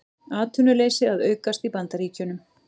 Atvinnuleysi að aukast í Bandaríkjunum